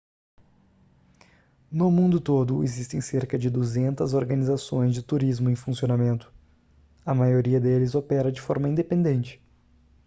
no mundo todo existem cerca de 200 organizações de turismo em funcionamento a maioria deles opera de forma independente